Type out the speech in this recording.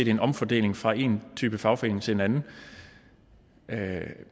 er en omfordeling fra en type fagforening til en anden